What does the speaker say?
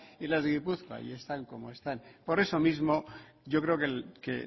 y las de gipuzkoa y están como están por eso mismo yo creo que